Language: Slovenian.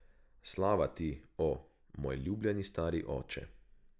Slava ti, o, moj ljubljeni stari oče.